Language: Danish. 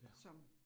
Ja